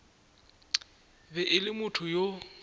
be e le motho yo